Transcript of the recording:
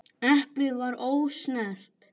Eplið var ósnert.